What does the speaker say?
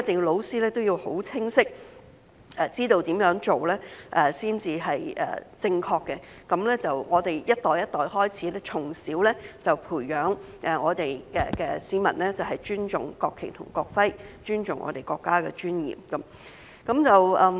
老師一定要很清晰知道如何做才是正確的，讓我們一代一代，從小便開始培養市民尊重國旗及國徽，尊重我們國家的尊嚴。